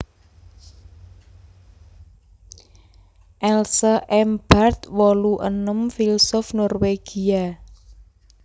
Else M Barth wolu enem filsuf Norwégia